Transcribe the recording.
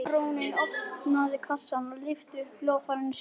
Baróninn opnaði kassann og lyfti upp hljóðfæri sínu.